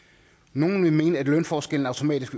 nogle vil mene at lønforskellen automatisk